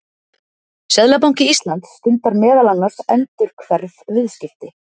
Seðlabanki Íslands stundar meðal annars endurhverf viðskipti.